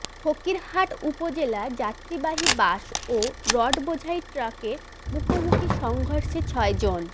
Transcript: ফকিরহাট উপজেলায় যাত্রীবাহী বাস ও রড বোঝাই ট্রাকের মুখোমুখি সংঘর্ষে ছয়জন